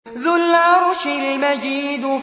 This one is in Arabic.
ذُو الْعَرْشِ الْمَجِيدُ